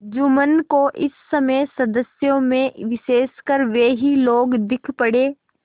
जुम्मन को इस समय सदस्यों में विशेषकर वे ही लोग दीख पड़े